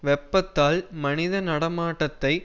வெப்பத்தால் மனித நடமாட்டத்தை